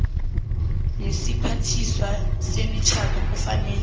nesiphathiswa semitjhado kufanele